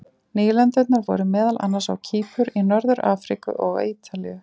Nýlendurnar voru meðal annars á Kýpur, í Norður-Afríku og á Ítalíu.